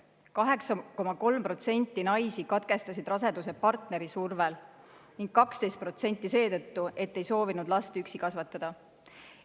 8,3% naisi katkestasid raseduse partneri survel ning 12% seetõttu, et ei soovinud last üksi kasvatada.